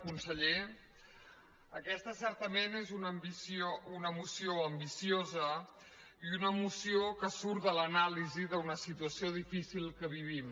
conseller aquesta certa·ment és una moció ambiciosa i una moció que surt de l’anàlisi d’una situació difícil que vivim